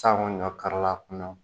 Sango ɲɔ karila